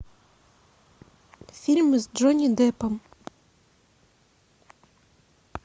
фильмы с джонни деппом